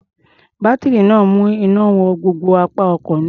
Bátírí náà ń mú iná wọ gbogbo apá ọkọ̀ náà.